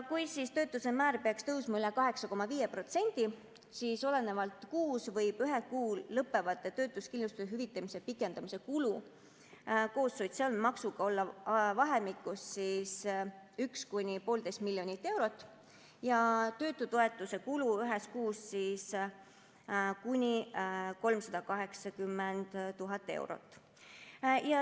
Kui töötuse määr peaks tõusma üle 8,5%, siis olenevalt kuust võivad ühel kuul lõppevad töötuskindlustuse hüvitamise pikendamise kulud koos sotsiaalmaksuga olla vahemikus 1–1,5 miljonit eurot ja töötutoetuse kulu ühes kuus kuni 380 000 eurot.